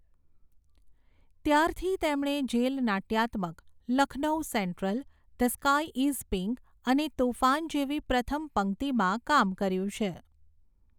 ત્યારથી તેમણે જેલ નાટ્યાત્મક 'Lucknow central', 'the sky is pink' અને 'તૂફાન' જેવી પ્રથમ પંક્તિમાં કામ કર્યું છે.